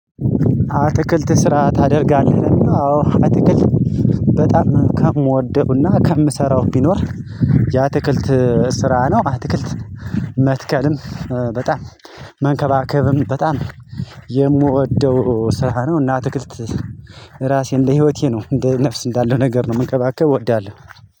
አትክልት ስራ ታደርጋለህ? አዎ አትክልት በጣም ከምወደውና ከምሰራው ቢኖር ያ ትክልት ስራ ነው። አትክልት መትከልም በጣም መንከባከብም በጣም የምወደው ስራ ነው። እና አትክልት ራሴ እንደ ህይወቴ ነው እንደ ነፍስ እንዳለው ነገር ነው መንከባከብ እወዳለሁ።